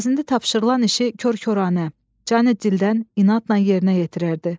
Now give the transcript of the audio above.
Əvəzində tapşırılan işi kor-koranə, can-ı dildən inadla yerinə yetirərdi.